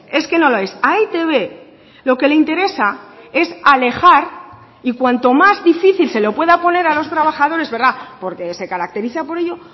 es que no lo es a e i te be lo que le interesa es alejar y cuanto más difícil se lo pueda poner a los trabajadores porque se caracteriza por ello